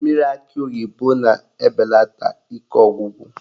Mmiri akị oyibo na-ebelata ike ọgwụgwụ